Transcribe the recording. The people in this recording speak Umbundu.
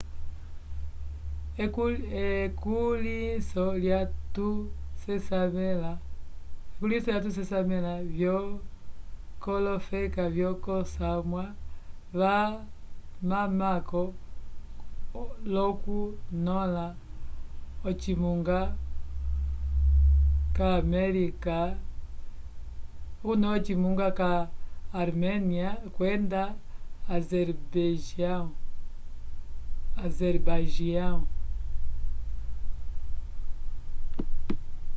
ekulihiso lya tu sesamela vyo kolofeka vyo ko samwa va mamako loku nyola ocimunga ca arménia kwenda azerbaijão